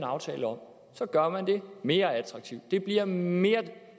aftale om gør man det mere attraktivt det bliver mere